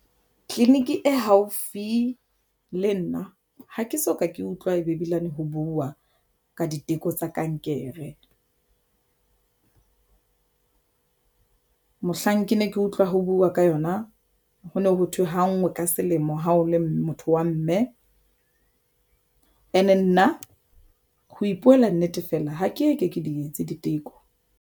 Clinic e haufi le nna ha ke soka ke utlwa e be ebilane ho buwa ka diteko tsa kankere. Mohlang ke ne ke utlwa ho buwa ka yona ho no ho thwe ha ngwe ka selemo ha o le motho wa mme and e nna ho ipuela nnete, fela ha ke ke di etse diteko.